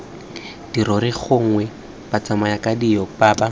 dirori gongwe batsamayakadinao ba ba